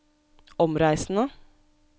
omreisende